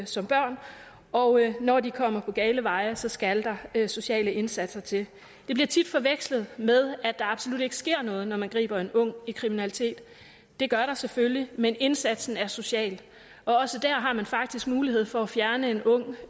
som børn og når de kommer på gale veje skal der sociale indsatser til det bliver tit forvekslet med at der absolut ikke sker noget når man griber en ung i kriminalitet det gør der selvfølgelig men indsatsen er social og også dér har man faktisk mulighed for at fjerne en ung